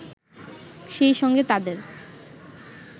সেই সঙ্গে তাদের